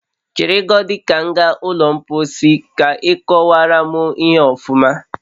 Chere godi ka m gaa ụlọ mposi ka ị kowara m ihe a ọfuma